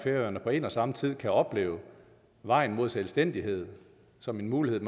færøerne på en og samme tid kan opleve vejen mod selvstændighed som en mulighed